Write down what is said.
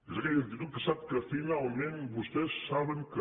és aquella actitud que sap que finalment vostès saben que